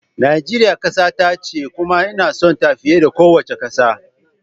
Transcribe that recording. Najeriya kasata ce kuma ina sonta fiye da kowace kasa